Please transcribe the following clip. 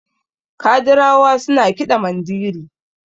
kadirawa suna kiɗa Mandiri